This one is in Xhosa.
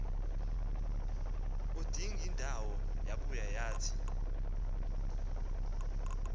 udingindawo yabuya yathi